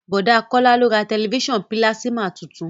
Bọ̀dá Kọ́lá ló ra tẹ̀lifísàn pílásímà tuntun